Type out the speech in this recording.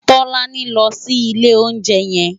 Tolani n lò si ilé óunjè yèn